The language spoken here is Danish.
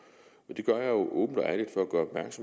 det gør jeg åbent og at